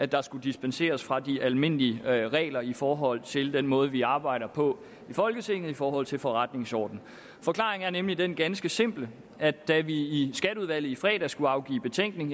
der skulle dispenseres fra de almindelige regler i forhold til den måde vi arbejder på i folketinget i forhold til forretningsordenen forklaringen er nemlig den ganske simple at da vi i skatteudvalget i fredags skulle afgive betænkning